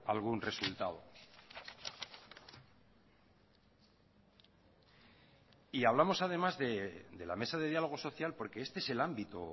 algún resultado y hablamos además de la mesa de dialogo social porque este es el ámbito